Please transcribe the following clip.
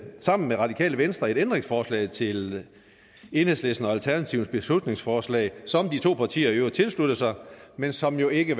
sammen med radikale venstre et ændringsforslag til enhedslistens og alternativets beslutningsforslag som de to partier i øvrigt tilsluttede sig men som jo ikke